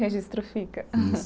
Registro fica. Isso